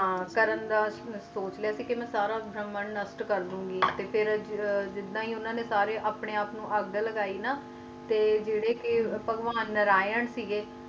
ਸਾਰਾ ਕਰਨ ਨੂੰ ਸੋਚ ਲਾਯਾ ਸੀ ਕ ਸਾਰਾ ਭਰਮ ਨਸ਼ਟ ਕਰ ਦੇਇ ਗਈ ਤੇ ਜੱਦੁ ਆਏ ਉਨ੍ਹਾਂ ਨੇ ਆਪਣੇ ਆਪ ਨੂੰ ਅੱਗ ਲਾਗਾਯੀ ਨਾ ਤੇ ਜੈਰੇ ਭਗਵਾਨ ਨਾਰਾਇਣ ਸੀ ਗਏ